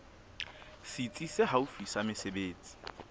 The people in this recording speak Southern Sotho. setsi se haufi sa mesebetsi